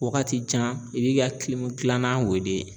Wagati jan i b'i ka kilanan weele.